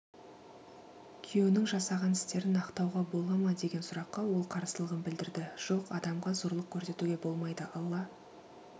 күйеуінің жасаған істерін ақтауға бола мадеген сұраққа ол қарсылығын білдірді жоқ адамға зорлық көрсетуге болмайды алла